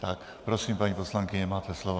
Tak prosím, paní poslankyně, máte slovo.